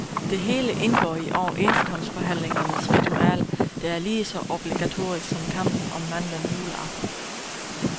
Det hele indgår i overenskomstforhandlingernes ritual, der er lige så obligatorisk som kampen om mandlen juleaften.